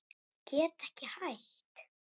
Get ekki hætt.